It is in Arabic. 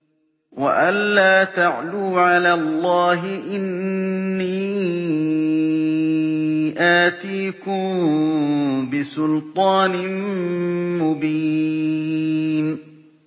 وَأَن لَّا تَعْلُوا عَلَى اللَّهِ ۖ إِنِّي آتِيكُم بِسُلْطَانٍ مُّبِينٍ